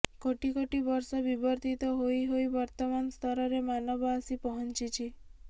କୋଟି କୋଟି ବର୍ଷ ବିବର୍ତିତ ହୋଇ ହୋଇ ବର୍ତମାନ ସ୍ତରରେ ମାନବ ଆସି ପହଂଚିଛି